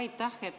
Jaa, aitäh!